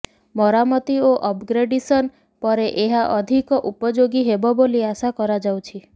ମରାମତି ଓ ଅପଗ୍ରେଡେସନ ପରେ ଏହା ଅଧିକ ଉପଯୋଗୀ ହେବ ବୋଲି ଆଶା କରାଯାଉଛି